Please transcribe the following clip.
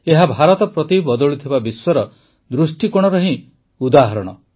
ଏହା ଭାରତ ପ୍ରତି ବଦଳୁଥିବା ବିଶ୍ୱର ଦୃଷ୍ଟିକୋଣର ହିଁ ଉଦାହରଣ